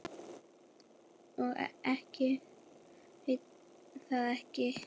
Og ég veit það ekki.